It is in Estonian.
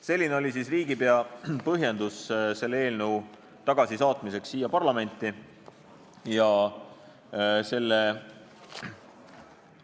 " Selline oli siis riigipea põhjendus, miks ta selle eelnõu siia parlamenti tagasi saatis.